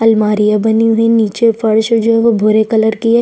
अलमारियाँ बनी हुई है निचे फर्श जो है वो भूरे कलर की है।